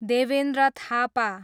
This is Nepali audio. देवेन्द्र थापा